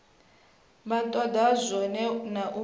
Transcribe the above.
vha toda zwone na u